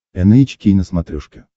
эн эйч кей на смотрешке